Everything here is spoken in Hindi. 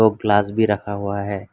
और ग्लास भी रखा हुआ है।